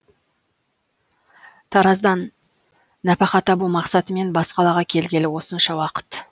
тараздан нәпақа табу мақсатымен бас қалаға келгелі осынша уақыт